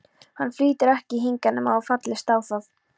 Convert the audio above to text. Hann flytur ekki hingað nema þú fallist á það.